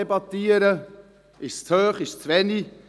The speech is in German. Ist es zu hoch, ist es zu wenig?